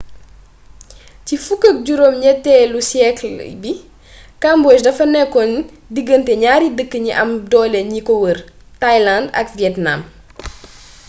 ci 18,eelu siyeekal bi cambodge dafa nekoon digante ñary dëkk ñi am dole ñi ko wër thailand ak vietnam